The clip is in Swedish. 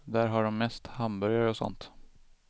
Där har de mest hamburgare och sånt.